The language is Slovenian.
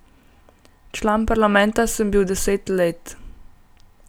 Član parlamenta sem bil deset let.